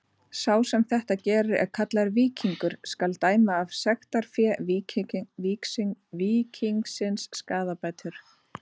Sá sem þetta gerir er kallaður víkingur: skal dæma af sektarfé víkingsins skaðabætur.